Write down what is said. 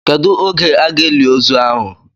Kedụ oge a ga-eli ozu ahụ?